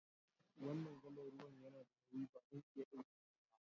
Wanan galan ruwan ya na da nauyi, ba zan iya dauke shi ba.